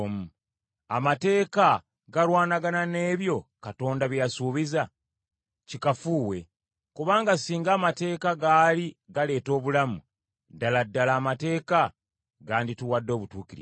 Amateeka galwanagana n’ebyo Katonda bye yasuubiza? Kikafuuwe. Kubanga singa amateeka gaali galeeta obulamu, ddala ddala amateeka gandituwadde obutuukirivu.